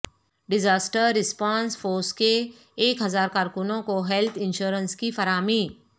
disaster response force کے ایک ہزار کارکنوں کو ہیلتھ انشورنس کی فراہمی